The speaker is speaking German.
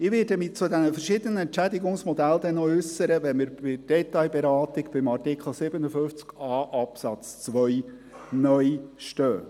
Ich werde mich zu den verschiedenen Entschädigungsmodellen äussern, wenn wir in der Detailberatung beim Artikel 57a Absatz 2 (neu) stehen.